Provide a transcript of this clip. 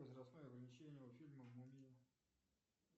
возрастное ограничение у фильма мумия